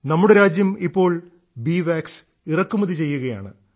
നമ്മുടെ രാജ്യം ഇപ്പോൾ ബീ വാക്സ് ഇറക്കുമതി ചെയ്യുകയാണ്